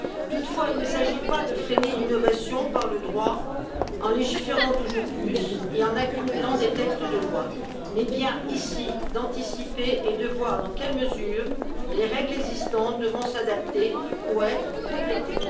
Toutefois, il ne s'agit pas de freiner l'innovation par le droit, en légiférant toujours plus et en accumulant des textes de loi, mais bien ici d'anticiper et de voir dans quelle mesure les règles existantes devront s'adapter ou être complétées.